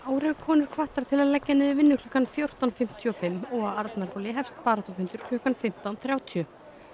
eru konur hvattar til að leggja niður vinnu klukkan fjórtán fimmtíu og fimm og á Arnarhóli hefst baráttufundur klukkan fimmtán þrjátíu